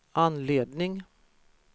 anledning